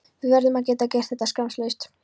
Við verðum að geta gert þetta skammlaust.